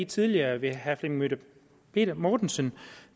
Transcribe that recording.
tidligere ved herre flemming møller mortensen